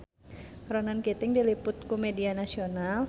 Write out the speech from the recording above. Ronan Keating diliput ku media nasional